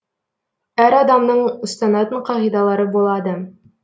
әр адамның ұстанатын қағидалары болады